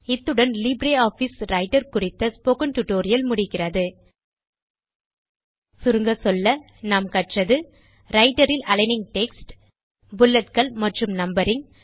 இத்துடன் LibreOffice Writer குறித்த spoken tutorial முடிகிறது சுருங்கச்சொல்ல கற்றது ரைட்டர் இல் அலிக்னிங் டெக்ஸ்ட் புல்லட்கள் மற்றும் நம்பரிங்